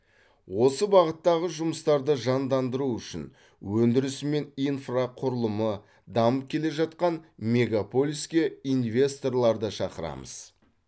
осы бағыттағы жұмыстарды жандандыру үшін өндірісі мен инфрақұрылымы дамып келе жатқан мегаполиске инвесторларды шақырамыз